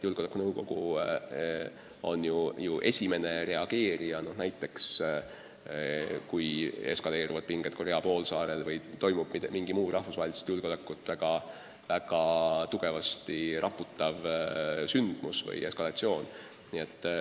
Julgeolekunõukogu on ju esimene reageerija, kui näiteks eskaleeruvad pinged Korea poolsaarel või toimub mingi muu rahvusvahelist julgeolekut väga tugevasti raputav sündmus või eskalatsioon.